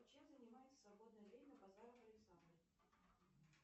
чем занимается в свободное время базаров александр